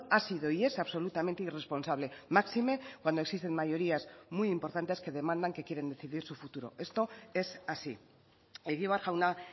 ha sido y es absolutamente irresponsable máxime cuando existen mayorías muy importantes que demandan que quieren decidir su futuro esto es así egibar jauna